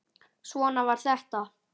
Svona var þetta.